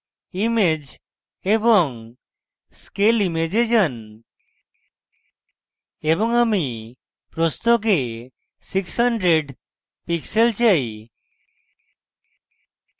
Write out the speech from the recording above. image/scale image এ যান এবং আমি প্রস্থকে 600 pixels চাই